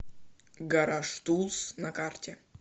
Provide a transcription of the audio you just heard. гаражтулс на карте